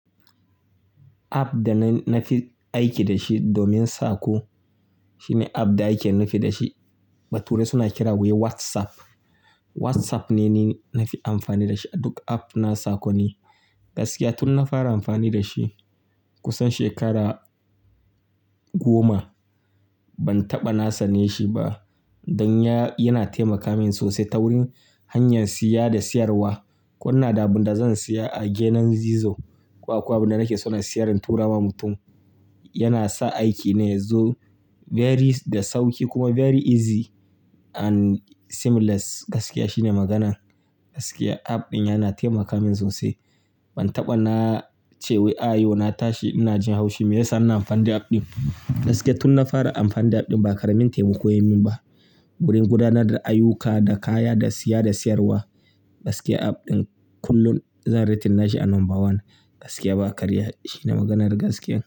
App da na fi aiki da shi domin saƙo, shine app da ake nufi da shi. Bature suna kira wai WhatsApp. WhatsApp ne ni na fi amfani da shi a duk app na saƙoni. Gaskiya tun na fara amfani da shi kusan shekara goma, ban taɓa na sane shi ba. Dan ya, yana taimaka min sosai ta wurin hanyar siya da siyarwa. Ko ina da abin da zan siya a gidan gizo, ko akwai abin da nake so na siyar in tura wa mutum. Yana sa aiki ne yazo very da sauƙi kuma very easy and seamless. Gaskiya shine magana. Gaskiya app ɗin yana taimaka min sosai. Ban taɓa na ce wai a yau na tashi ina jin haushi. Meyasa ina amfani da app ɗin? Gaskiya tun na fara amfani da app ɗin ba karamin taimako yayi min ba. Wurin gudanar da ayyuka, da kaya, da siya, da siyarwa. Gaskiya app ɗin kullum zan rating nashi a number one. Gaskiya ba karya. Shine maganar gaskiya.